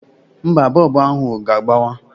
Mba, bọọbụ ahụ ga-agbawa.